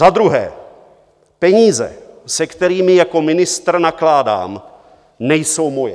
Za druhé, peníze, se kterými jako ministr nakládám, nejsou moje.